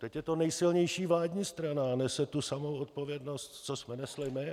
Teď je to nejsilnější vládní strana a nese tu samou odpovědnost, co jsme nesli my.